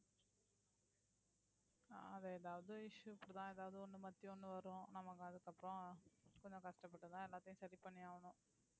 அது எதாவது issue இப்படித்தான், எதாவது ஒண்ணு, மாத்தி ஒண்ணு வரும். நமக்கு அதுக்குப்புறம் கொஞ்சம் கஷ்டப்பட்டு தான் எல்லாத்தையும் சரி பண்ணியாகணும்